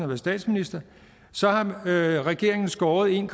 været statsminister har regeringen skåret en